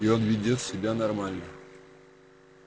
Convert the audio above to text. и он ведёт себя нормально